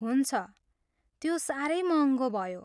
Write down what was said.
हुन्छ। त्यो साह्रै महङ्गो भयो।